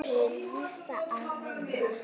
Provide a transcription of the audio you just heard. Til hvers að vinna?